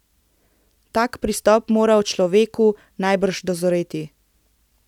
Tak pristop mora v človeku najbrž dozoreti.